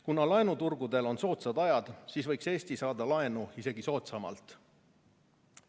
Kuna laenuturgudel on soodsad ajad, siis võiks Eesti saada laenu isegi soodsamalt.